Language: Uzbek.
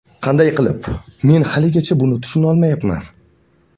Qanday qilib, men haligacha buni tushunolmayman.